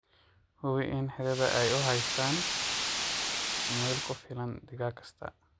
Hubi in xiradha ay u haystaan ??meel ku filan digaag kasta.